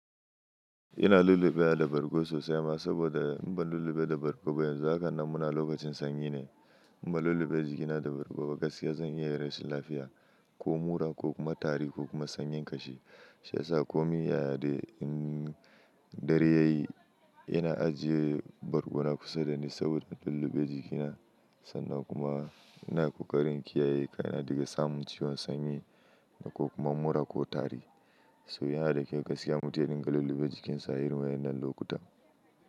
Ina lullubeya da bargo sosai ma, saboda in ban lullube da bargo ba, yanzu hakan nan muna lokacin sanyi ne. In ba lullube jikina da bargo ba, gaskiya zan iya rashin lafiya, ko mura, ko kuma tari, ko kuma sanyin kashi. Shi yasa komin ya ya dai, dare yayi ina ajiye bargona kusa dani, saboda lullube jikina sannan kuma ina kokarin kiyaye kaina daga samun ciwon sanyi, ko kuma mura ko tari. To, yana da kyau gaskiya, mutum ya dinga lullube jikin sa, a hirma wannan lokuta.